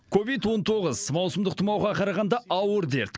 ковид он тоғыз маусымдық тұмауға қарағанда ауыр дерт